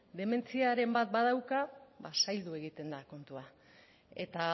dementziaren bat badauka ba zaildu egiten da kontua eta